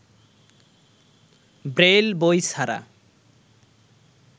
Braille বই ছাড়া